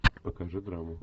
покажи драму